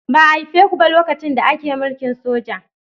Ba a haife ku ba lokacin da ake mulkin soja.